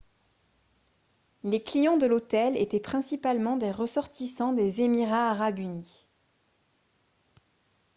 les clients de l'hôtel étaient principalement des ressortissants des émirats arabes unis